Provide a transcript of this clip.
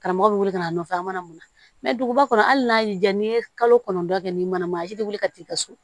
Karamɔgɔ bɛ wele ka na nɔfɛ a mana mun na mɛ duguba kɔnɔ hali n'a y'i diya n'i ye kalo kɔnɔntɔn kɛ ni mana man a si tɛ wuli ka taa i ka so